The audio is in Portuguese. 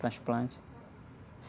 Esse transplante.